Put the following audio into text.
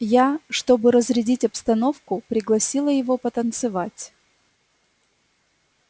я чтобы разрядить обстановку пригласила его потанцевать